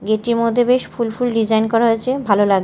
এটির মধ্যে বেশ ফুল ফুল ডিজাইন করা হয়েছে ভালো লাগ--